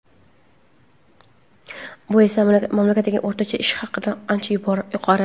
bu esa mamlakatdagi o‘rtacha ish haqidan ancha yuqori.